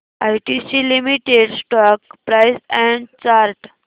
ITC limited stock price and chart